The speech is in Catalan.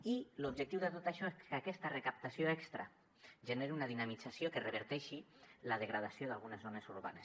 i l’objectiu de tot això és que aquesta recaptació extra generi una dinamització que reverteixi la degradació d’algunes zones urbanes